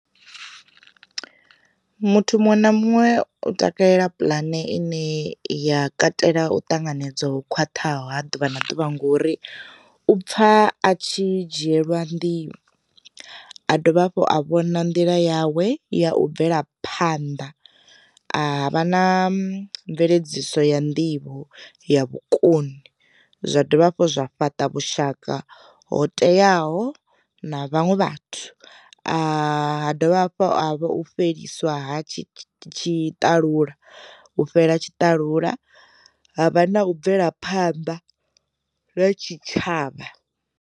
Muthu muṅwe na muṅwe u takalela puḽane ine ya katela u ṱanganedzwa ho khwaṱhaho ha ḓuvha na ḓuvha ngori, u pfha a tshi dzhielwa ndi a dovha hafhu a vhona nḓila yawe ya u bvela phanḓa, a vha na mveledziso ya nḓivho ya vhukoni, zwa dovha hafhu zwa fhaṱa vhushaka ho teaho na vhaṅwe vhathu, ha dovha hafhu a vha fheliswa tshitalula u fhela tshitalula, ha vha na u bvela phanḓa ha tshitshavha.